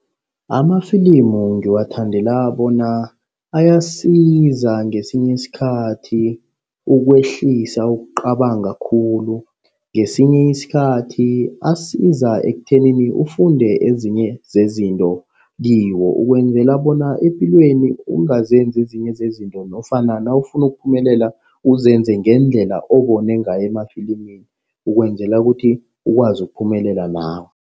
Amafilimu ngiwathandela bona ayasiza ngesinye isikhathi ukwehlisa ukucabanga khulu. Ngesinye isikhathi asiza ekuthenini ufunde ezinye zezinto kiwo. Ukwenzela bona epilweni ungazenzi ezinye zezinto nofana nawufuna ukuphumelela uzenze ngendlela obone ngayo emafilimini. Ukwenzela ukuthi ukwazi ukuphumelela nawe.